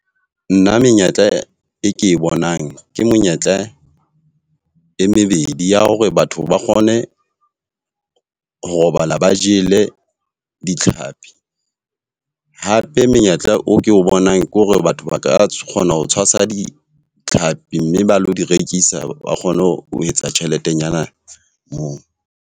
Nna menyetla e e ke bonang, ke monyetla e mebedi ya hore batho ba kgone ho robala ba jele ditlhapi. Hape menyetla o ke o bonang ke hore batho ba ka kgona ho tshwasa ditlhapi mme ba lo di rekisa, ba kgone ho etsa tjheletenyana moo.